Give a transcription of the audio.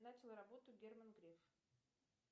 начал работу герман греф